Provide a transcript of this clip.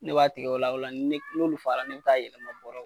Ne b'a tigɛ o la o la ni olu fala ne bɛ taa yɛlɛma bɔrɔ